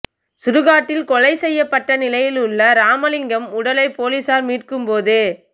சுடுகாட்டில் கொலை செய்யப்பட்ட நிலையில் உள்ள ராமலிங்கம் உடலை போலீசார் மீட்கும் போது